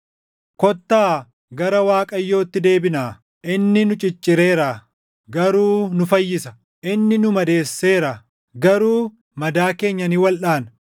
“Kottaa gara Waaqayyootti deebinaa. Inni nu ciccireera; garuu nu fayyisa; inni nu madeesseera; garuu madaa keenya ni waldhaana.